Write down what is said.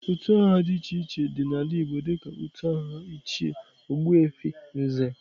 Utu aha di iche iche di n'ala igbo dika utu aha ichie, ogbuefi, Nze.